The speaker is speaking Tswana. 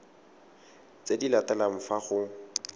tse di latelang fa go